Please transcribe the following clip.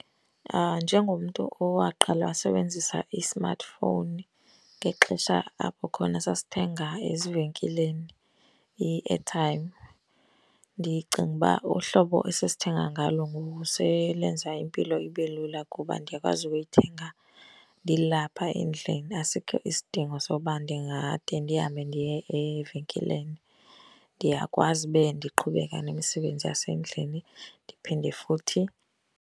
Njengomntu owaqala wasebenzisa i-smartphone ngexesha apho khona sasithenga ezivenkileni i-airtime, ndicinga uba uhlobo esesithenga ngalo ngoku selenza impilo ibe lula. Kuba ndiyakwazi ukuyithenga ndilapha endlini, asikho isidingo soba ndingade ndihambe ndiye evenkileni. Ndiyakwazi ube ndiqhubeka nemisebenzi yasendlini ndiphinde futhi.